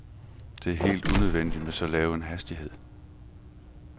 Det er helt unødvendigt med så lav en hastighed.